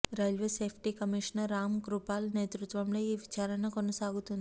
railway safety commissioner Ram Kripal నేతృత్వంలో ఈ విచారణ కొనసాగుతోంది